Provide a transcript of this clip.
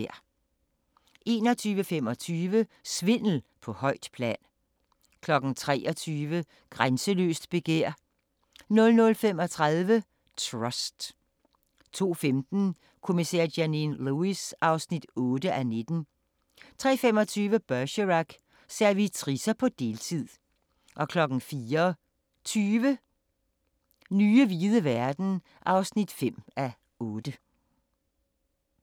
21:25: Svindel på højt plan 23:00: Grænseløst begær 00:35: Trust 02:15: Kommissær Janine Lewis (8:19) 03:25: Bergerac: Servitricer på deltid 04:20: Nye hvide verden (5:8)